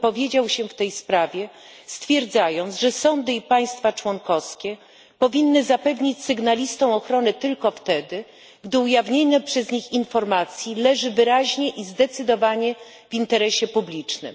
wypowiedział się w tej sprawie, stwierdzając, że sądy i państwa członkowskie powinny zapewnić sygnalistom ochronę tylko wtedy, gdy ujawnienie przez nich informacji leży wyraźnie i zdecydowanie w interesie publicznym.